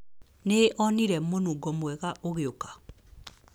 Nĩ onire mũnungo mwega ũgĩũka!